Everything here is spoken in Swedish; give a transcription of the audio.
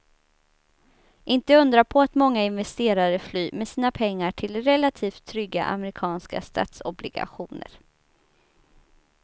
Inte undra på att många investerare flyr med sina pengar till relativt trygga amerikanska statsobligationer.